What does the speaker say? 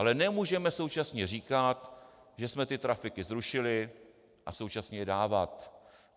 Ale nemůžeme současně říkat, že jsme ty trafiky zrušili, a současně je dávat.